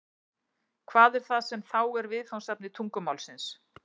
Hvað er það sem þá er viðfangsefni tungumálsins?